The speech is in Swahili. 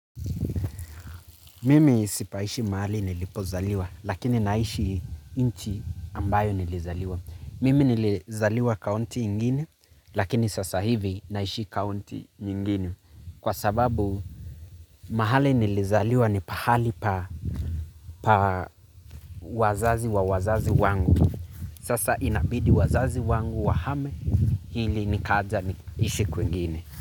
Mimi sipaishi mahali nilipozaliwa, lakini naishi inchi ambayo nilizaliwa. Mimi nilizaliwa kaunti ingine, lakini sasa hivi naishi kaunti nyingine. Kwa sababu mahali nilizaliwa ni pahali pa wazazi wa wazazi wangu. Sasa inabidi wazazi wangu wahame hili nikaja niisi kwingine.